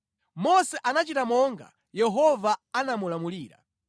Mose anachita monga Yehova anamulamulira.